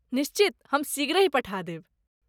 निश्चित, हम शीघ्रहि पठा देब।